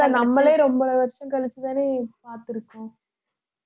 நம்மளே ரொம்ப வருஷம் கழிச்சுத்தானே பார்த்திருக்கோம்